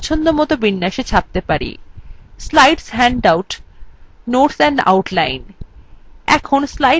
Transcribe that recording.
slides handouts notes and outline এখন slides বিকল্পটি নির্বাচন করুন